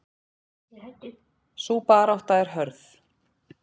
Sú barátta er hörð.